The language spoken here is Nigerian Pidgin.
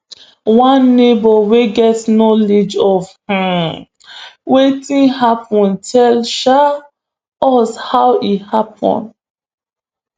one neighbour wey get knowledge of um wetin happen tell um us how e happen